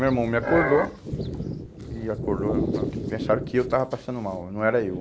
Meu irmão me acordou e acordou, pensaram que eu estava passando mal, não era eu.